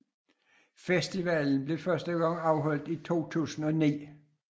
Festivalen blev første gang afholdt i 2009